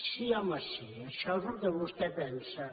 sí home sí això és el que vostè pensa